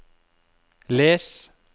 les